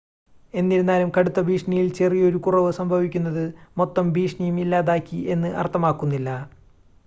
"എന്നിരുന്നാലും, കടുത്ത ഭീഷണിയിൽ ചെറിയൊരു കുറവ് സംഭവിക്കുന്നത്, മൊത്തം ഭീഷണിയും ഇല്ലാതാക്കി എന്ന് അർത്ഥമാക്കുന്നില്ല."